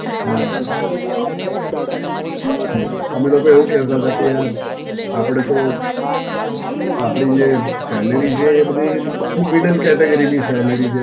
હાં હાં, અમે લોકો એવું કહેતા હતાં યાર આપડે તો, આપડી જે Salary છે એ બધી medium category ની salary ે.